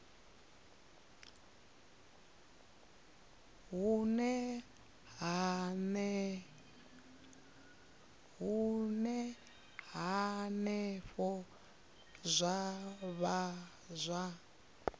hune henefho zwa vha zwa